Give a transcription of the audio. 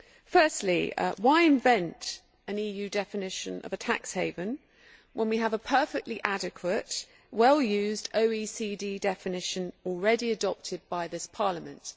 Firstly, why invent an EU definition of a tax haven when we have a perfectly adequate, well used OECD definition already adopted by this Parliament?